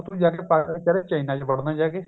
ਹੁਣ ਤੂੰ ਜਾ ਕੇ ਅਹ china ਚ ਵੜਨਾ ਜਾ ਕੇ